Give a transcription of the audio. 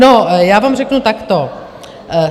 No, já vám řeknu takto.